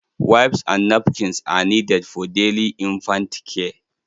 Wipes and napkins are needed for daily infant care.